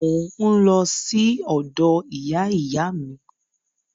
Mò ń lọ sí ọ̀dọ̀ ìyá ìyá mi